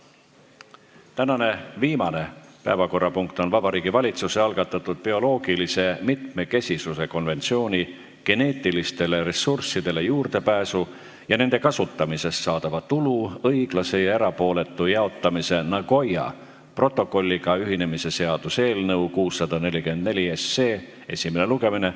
Tänane viimane päevakorrapunkt on Vabariigi Valitsuse algatatud bioloogilise mitmekesisuse konventsiooni geneetilistele ressurssidele juurdepääsu ja nende kasutamisest saadava tulu õiglase ja erapooletu jaotamise Nagoya protokolliga ühinemise seaduse eelnõu esimene lugemine.